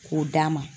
K'o d'a ma